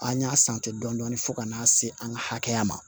An y'a dɔɔnin-dɔɔnin fo ka n'a se an ka hakɛya ma